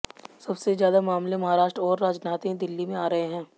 सबसे ज्यादा मामले महाराष्ट्र और राजधानी दिल्ली में आ रहे हैं